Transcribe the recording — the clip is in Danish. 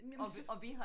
Jamen så